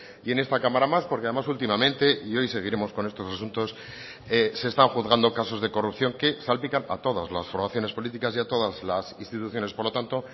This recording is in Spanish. y en esta cámara más porque además últimamente y hoy seguiremos con estos asuntos se están juzgando casos de corrupción que salpican a todas las formaciones políticas y a todas las instituciones por lo tanto